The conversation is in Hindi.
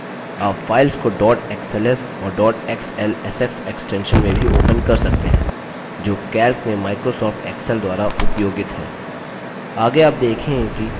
आप files को dot xls और dot xlsx extensions में भी open कर सकते हैं जो calc में microsoft excel द्वारा उपयोगित हैं